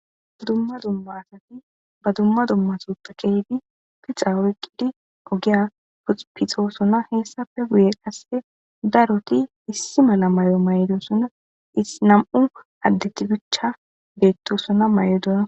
dumma dumma asati ba dumma dummaso ta kehdi pixa woyqqidi ogiya puxupixosona heessafe guye qasse daroti issi mala may7o may7dosonna isinam7u addetibicha beettosona may7odona